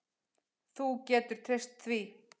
Þú getur treyst því.